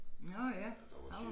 Nå ja han var